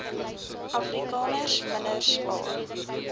afrikaners minder spaar